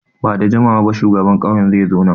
Ba da jimawa ba shugaban ƙauyen zai zo nan.